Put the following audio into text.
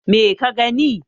me ka gani